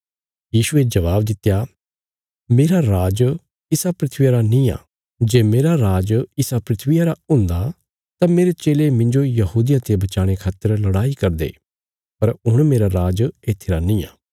यीशुये जबाब दित्या मेरा राज इसा धरतिया रा निआं जे मेरा राज इसा धरतिया रा हुंदा तां मेरे चेले मिन्जो यहूदियां ते बचाणे खातर लड़ाई करदे पर हुण मेरा राज इत्थी रा निआं